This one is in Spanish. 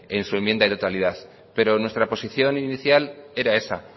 en su enmienda y de totalidad pero nuestra posición inicial era esa